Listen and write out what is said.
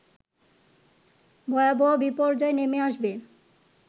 ভয়াবহ বিপর্যয় নেমে আসবে